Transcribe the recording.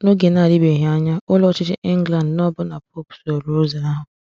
N’oge na-adịbeghị anya, Ụlọ Ọchịchị England na ọbụna Pope sooro ụzọ ahụ.